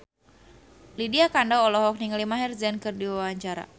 Lydia Kandou olohok ningali Maher Zein keur diwawancara